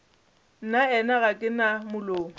nnaena ga ke na molomo